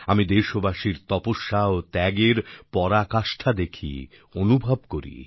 আমি দেশবাসীর তপস্যা ও ত্যাগের পরাকাষ্ঠা দেখি অনুভব করি